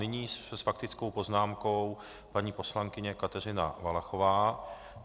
Nyní s faktickou poznámkou paní poslankyně Kateřina Valachová.